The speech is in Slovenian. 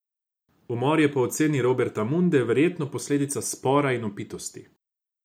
Umor je po oceni Roberta Munde verjetno posledica spora in opitosti.